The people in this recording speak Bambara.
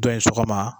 Dɔ ye sɔgɔma